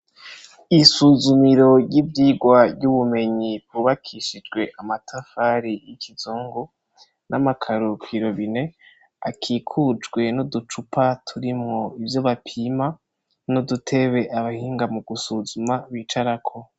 Isuzumiro ry'ivyirwa ry'ubumenyi ryubakishijwe amatafari y'ikizungu, n'amakaro kw'irobine, akikujwe n'uducupa turimwo ivyo bapima n'udutebe abahinga mu gusuzuma bicarako.